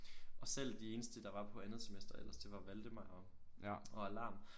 Og selv de eneste der var på andet semester ellers det var Valdemar og og alarm